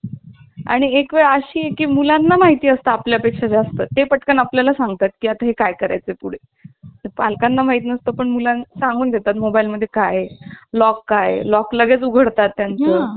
एकवेळ अशी की मुलांना माहिती असतं. आपल्या पेक्षा जास्त ते पटकन आपल्या ला सांगतात की आता काय करायचं पुढे पालकांना माहीत नसतो. पण मुलांना सांगून देतात. मोबाईल मध्ये काय आहे लॉक आहे लॉक लगेच उघडतात त्या चं